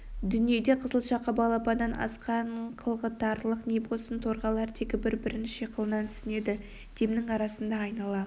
дүниеде қызыл шақа балапаннан асқан қылғытарлық не болсын торғайлар тегі бір-бірін шиқылынан түсінеді демнің арасында айнала